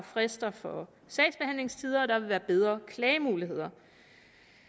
frister for sagsbehandlingstider og der vil være bedre klagemuligheder